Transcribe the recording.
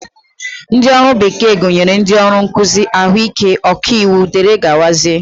Ndị ọrụ bekee gụnyere ndị ọrụ nkụzi, ahụike, ọkaiwu dgz